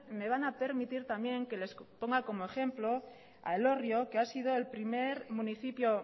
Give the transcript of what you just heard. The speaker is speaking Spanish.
me van a permitir también que les ponga como ejemplo a elorrio que ha sido el primer municipio